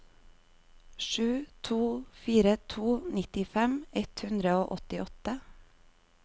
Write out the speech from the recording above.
sju to fire to nittifem ett hundre og åttiåtte